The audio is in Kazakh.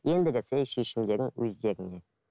ендігісі шешімдерің өздеріңнен